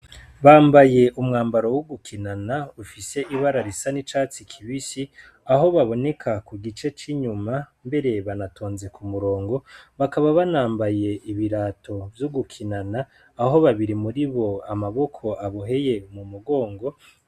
Bambaye umwambaro wo gukinana ufise ibara risa n'icatsi kibisi, aho baboneka ku gice c'inyuma, mbere banatonze ku murongo, bakaba banambaye ibirato vyo gukinana, aho babiri muribo amaboko aboheye mu mugongo.